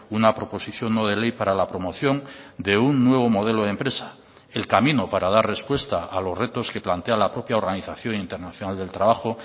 una proposición no de ley para la promoción de un nuevo modelo de empresa el camino para dar respuesta a los retos que plantea la propia organización internacional del trabajo